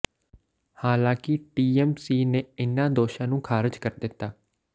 ਹਾਲਾਂਕਿ ਟੀਐਮਸੀ ਨੇ ਇਨ੍ਹਾਂ ਦੋਸ਼ਾਂ ਨੂੰ ਖਾਰਜ ਕਰ ਦਿੱਤਾ